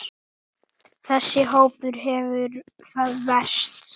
Þessi hópur hefur það verst.